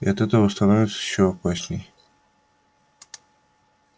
и от этого становится ещё опаснее